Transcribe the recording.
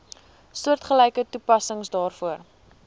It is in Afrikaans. soortgelyke toepassing daarvoor